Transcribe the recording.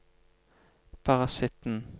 parasitten